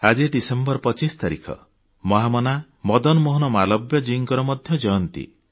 ଆଜି ଡିସେମ୍ବର 25 ତାରିଖ ମହାମନା ମଦନମୋହନ ମାଲବ୍ୟଜୀଙ୍କର ମଧ୍ୟ ଜୟନ୍ତୀ